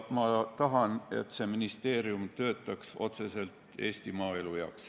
Ma tahan, et see ministeerium töötaks otseselt Eesti maaelu heaks.